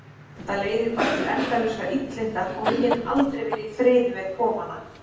Það leiðir bara til endalausra illinda og við getum aldrei verið í friði með kofana.